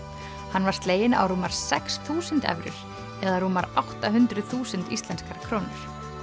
hann var sleginn á rúmar sex þúsund evrur eða rúmar átta hundruð þúsund íslenskar krónur